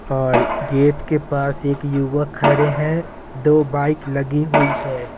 और गेट के पास एक युवक खड़े हैं दो बाइक लगी हुई है।